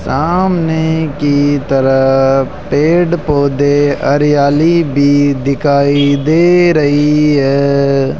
सामने की तरफ पेड़ पौधे हरियाली भी दिखाई दे रही है।